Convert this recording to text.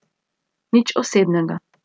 Nič osebnega.